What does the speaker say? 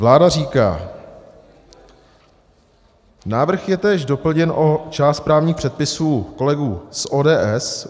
Vláda říká: Návrh je též doplněn o část právních předpisů kolegů z ODS.